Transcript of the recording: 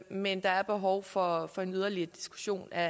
men der er behov for for en yderligere diskussion af